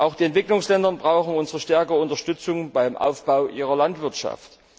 Auch die Entwicklungsländer brauchen unsere stärkere Unterstützung beim Aufbau ihrer Landwirtschaft.